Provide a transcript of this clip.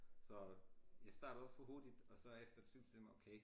Så jeg startede også for hurtigt og efter en time senere okay